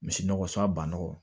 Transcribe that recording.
Misi nɔgɔ sa bannaw